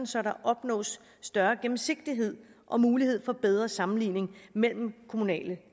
så der opnås større gennemsigtighed og mulighed for bedre sammenligning mellem kommunale